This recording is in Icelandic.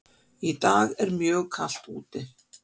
Í dag er mjög kalt úti.